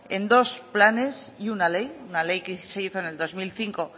en dos planes y una ley una ley que se hizo en el dos mil cinco